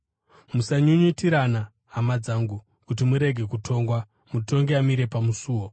Musanyunyutirana, hama dzangu, kuti murege kutongwa. Mutongi amire pamusuo!